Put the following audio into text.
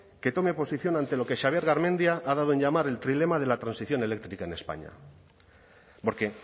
que tome posición ante lo que xabier garmendia ha dado en llamar el trilema de la transición eléctrica en españa porque